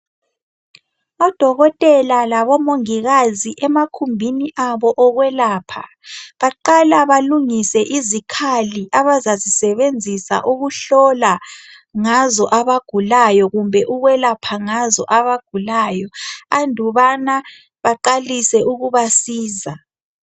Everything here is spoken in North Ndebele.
o dokotela labo mongikazi emakhumbini abo okwelapha baqala balungise izikhali abazazisebenzisa ukuhlola ngazo abagulayo kumbe ukwelapha ngazo abagulayo andubana baqalise ukubasiza